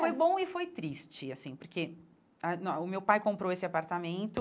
Foi bom e foi triste, assim, porque ah o meu pai comprou esse apartamento,